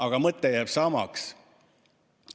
Aga mõte jääb samaks.